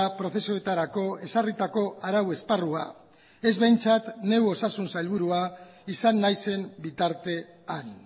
prozesuetarako ezarritako arau esparrua ez behintzat neu osasun sailburua izan naizen bitartean